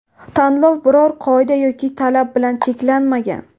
Tanlov biror qoida yoki talab bilan cheklanmagan.